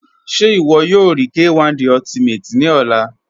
Ṣẹ iwọ yọ rí K1 De Ultimate ni ọ̀là?